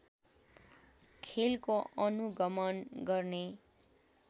खेलको अनुगमन गर्ने